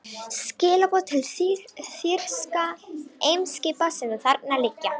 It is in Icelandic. Skilaboð til þýskra eimskipa, sem þarna liggja.